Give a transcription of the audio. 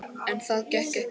En það gekk ekki.